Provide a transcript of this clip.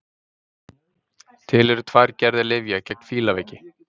Til eru tvær gerðir lyfja gegn fílaveiki.